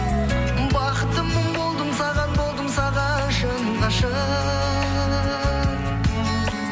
бақыттымын болдым саған болдым саған шын ғашық